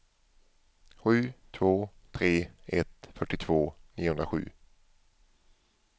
sju två tre ett fyrtiotvå niohundrasju